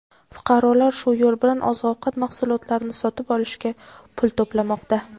Fuqarolar shu yo‘l bilan oziq-ovqat mahsulotlarini sotib olishga pul to‘plamoqda.